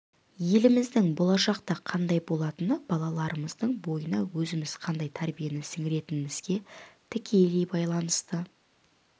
еліміздің болашақта қандай болатыны балаларымыздың бойына өзіміз қандай тәрбиені сіңіретінімізге тікелей байланысты